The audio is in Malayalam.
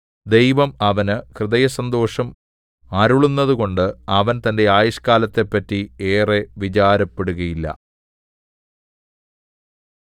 ദൈവം അവന് ഹൃദയസന്തോഷം അരുളുന്നതുകൊണ്ട് അവൻ തന്റെ ആയുഷ്കാലത്തെപ്പറ്റി ഏറെ വിചാരപ്പെടുകയില്ല